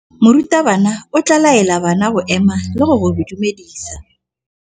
Morutabana o tla laela bana go ema le go go dumedisa.